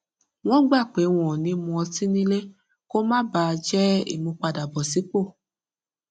wọn gbà pé wọn ò ní mu ọtí nílé kó má bà a jẹ ìmúpadàbọsípò